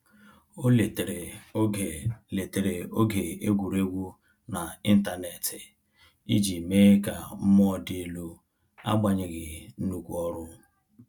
O letere oge letere oge egwuregwu na intaneti iji mee ka mmụọ dị elu agbanyeghi nnukwu ọrụ